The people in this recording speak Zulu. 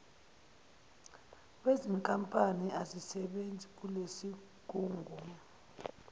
wezinkampani azisebenzi kulesigungu